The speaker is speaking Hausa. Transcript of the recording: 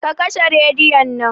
Ka kashe rediyon nan